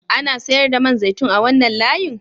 Ana sayar da man zaitun a wannan layin?